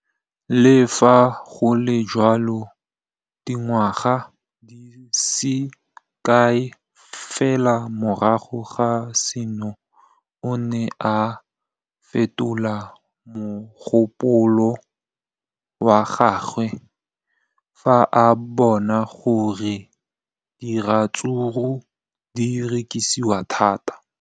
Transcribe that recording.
Le fa go le jalo, dingwaga di se kae fela morago ga seno, o ne a fetola mogopolo wa gagwe fa a bona gore diratsuru di rekisiwa thata.